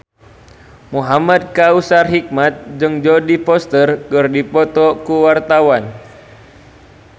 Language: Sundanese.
Muhamad Kautsar Hikmat jeung Jodie Foster keur dipoto ku wartawan